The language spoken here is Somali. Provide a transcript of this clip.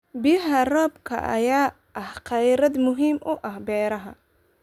Biyaha roobka ayaa ah kheyraad muhiim u ah beeraha.